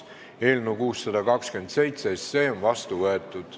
Eelnõu 627 on seadusena vastu võetud.